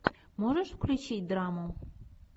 можешь включить драму